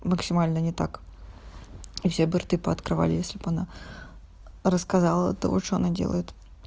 максимально не так и все бы рты пооткрывали если она рассказала то что она делает